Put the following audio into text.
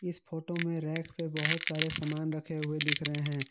इस फोटो में रैख से बहोत सारे सामान रखे हुए दिख रहे हैं।